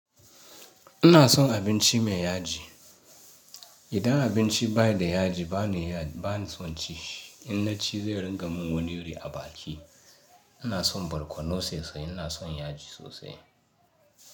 Ina son abinci mai yaji. Idan abinci baida yaji bana iya ban son ci shi, in naci zai ringa min goniri a baki. Ina son barkono sosai, ina son yaji sosai.